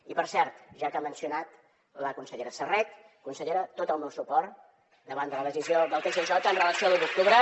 i per cert ja que ha mencionat la consellera serret consellera tot el meu suport davant de la decisió del tsj amb relació a l’u d’octubre